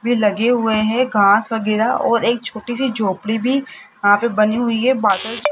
वे लगे हुए हैं घांस वगैरह और एक छोटी सी झोपड़ी भी वहां पे बनी हुई है बादल--